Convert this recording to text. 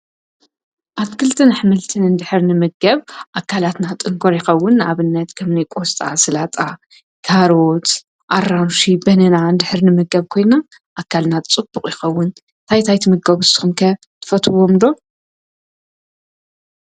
ኣትክልትን ኅምልትን እንድኅርኒ ምገብ ኣካላትና ጥንኰርኢኸውን ኣብነት ከምኒ ቆስጣ፣ ስላጣ ፣ካርት ኣራንሽ፣ በንና ንድኅርኒ ምገብ ኮይንና ኣካልናት ጽቡቕ ኢኸውን ታይታይት ምጋጕዝቶኸምከ ትፈትዎምዶ?